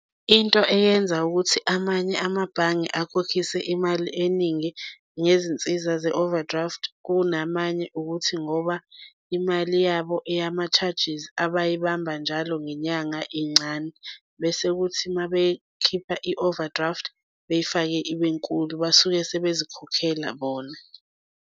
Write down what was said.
Into eyenza ukuthi amanye amabhange akhokhise imali eningi ngezinsiza ze-overdraft kunamanye ukuthi ngoba imali yabo eyama-charges abayibamba njalo ngenyanga incane bese kuthi mabekhipha i-overdraft beyifake ibe nkulu, basuke sebezikhokhela bona.